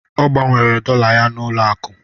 Ọ gbanwere dọla ya n'ụlọ akụ.